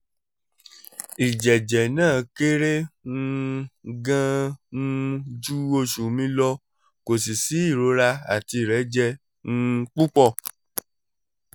ìjẹ̀jẹ̀ náà kéré um gan-an um ju oṣù mi lọ kò sì sí ìrora àti ìrẹ́jẹ um púpọ̀